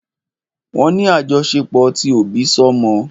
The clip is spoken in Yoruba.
Wọ́n ní àjọṣepọ̀ ti òbísọ́mọ.